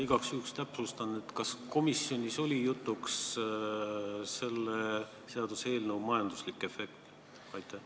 Igaks juhul täpsustan: kas komisjonis oli jutuks selle seaduseelnõu majanduslik efekt?